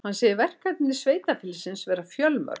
Hann segir verkefni sveitarfélagsins vera fjölmörg